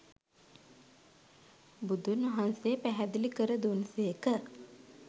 බුදුන්වහන්සේ පැහැදිලි කර දුන් සේක.